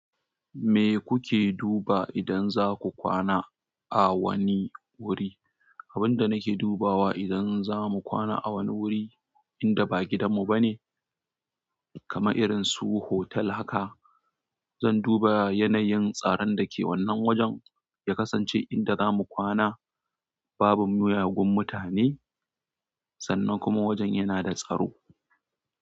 Me kuke duba idan za ku kwana a wani wuri? Abin da nake dubawa idan za mu kwana a wani wuri inda ba gidanmu ba ne, kamar irin su hotel haka, zan duba yanayin tsaron da ke wannan wajen, ya kasance inda za mu kwana, babu miyagun mutane sannan kuma wajen yana da tsaro.